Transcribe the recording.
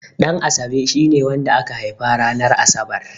Ɗanasabe shine wanda aka haifa ranar Asabar.